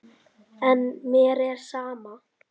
En mér er sama.